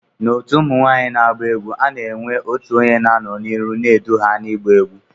Na otu ụmụnwanyi na agba egwu, ana enwe otụ onye na anọ na iru n'edu ha na igba egwu.